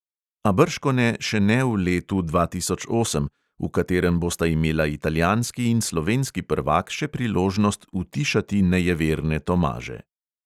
A bržkone še ne v letu dva tisoč osem, v katerem bosta imela italijanski in slovenski prvak še priložnost utišati nejeverne tomaže.